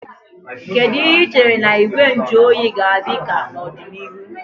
Kedu ihe ị chere na Igwe nju oyi ga-adị ka n'ọdịnihu?